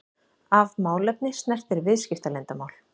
ef málefni snertir viðskiptaleyndarmál.